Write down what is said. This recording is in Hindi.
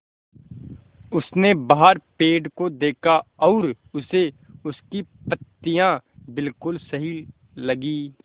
उसने बाहर पेड़ को देखा और उसे उसकी पत्तियाँ बिलकुल सही लगीं